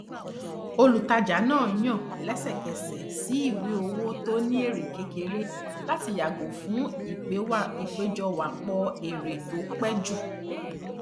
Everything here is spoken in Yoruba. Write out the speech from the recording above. olùtajà náà yan lẹsẹkẹsẹ sí ìwé owó tó ní èrè kékeré láti yàgò fún ìpéjọwápọ èrè tó péjú